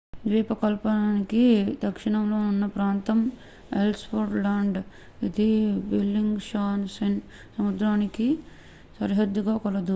ద్వీపకల్పానికి దక్షిణంలో ఉన్న ప్రాంతం ఎల్స్ వర్త్ ల్యాండ్ ఇది బెల్లింగ్ షాసెన్ సముద్రానికి సరిహద్దుగా కలదు